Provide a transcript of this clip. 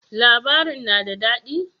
Labarin na da dadi?